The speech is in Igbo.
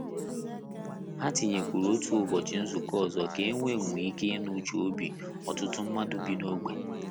Ha tinyerekwuru otu ụbọchị nzukọ ọzọ ka e wee nwe ike inụ uche obi ọtụtụ mmadụ bi n'ogbe.